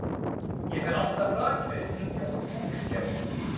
Ég fer alltaf rakleiðis hingað úr búningsklefanum.